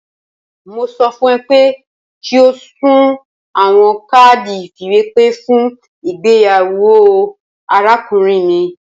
Mo sọ fun ọ pe ki o sun awọn kaadi ifiwepe fun igbeyawo arakunrin mi